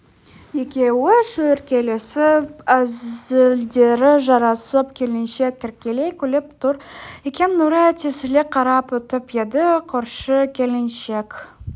екеуі шүйіркелесіп әзілдері жарасып келіншек еркелей күліп тұр екен нұрай тесіле қарап өтіп еді көрші келіншек